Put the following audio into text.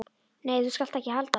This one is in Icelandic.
Nei, þú skalt ekki halda það!